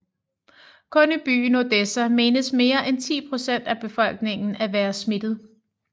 Kun i byen Odessa menes mere end 10 procent af befolkningen at være smittet